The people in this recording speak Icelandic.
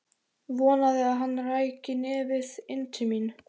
Vonaði að hann ræki nefið inn til mín.